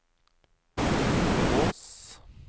Kvås